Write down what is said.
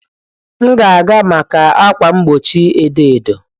M ga-aga maka ákwà mgbochi edo edo.